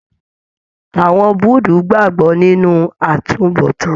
Àwọn Búudú gbagbọ nínú àtúnbọ̀tán.